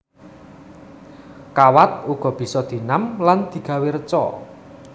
Kawat uga bisa dienam lan digawé reca